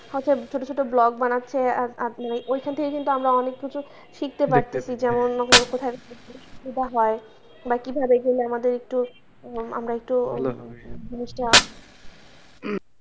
হচ্ছে ছোটো ছোটো blog বানাচ্ছে বা আপনি ওইখান থেকে কিন্তু আমরা অনেক কিছুই দেখতে পারতেছি যে অন্য কোথাও যেটা হয় কীভাবে গেলে আমাদের একটু আমরা একটু জিনিসটা,